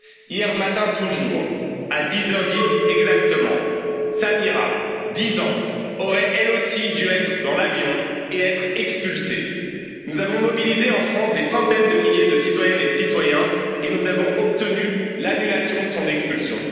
Hier matin toujours, à 10 heures 10 exactement, Samira, dix ans, aurait, elle aussi, dû être dans l'avion et être expulsée. En France, nous avons mobilisé des centaines de milliers de citoyennes et de citoyens et nous avons obtenu l'annulation de son expulsion.